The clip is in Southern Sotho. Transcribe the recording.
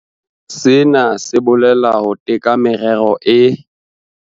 Sena se bolela ho teka merero e.